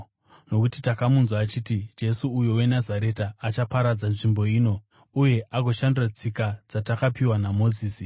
Nokuti takamunzwa achiti Jesu uyu weNazareta achaparadza nzvimbo ino uye agoshandura tsika dzatakapiwa naMozisi.”